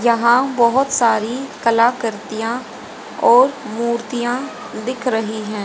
यहां बहोत सारी कलार्तियां और मूर्तियां दिख रही हैं।